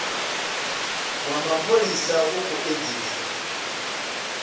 wa mapholisa u khou edzisa